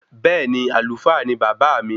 Bẹẹni, Àlùfáà ni baba mi